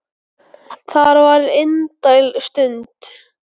Það var indæl stund.